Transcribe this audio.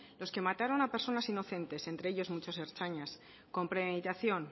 los que mataron a personas inocentes entre ellos muchos ertzainas con premeditación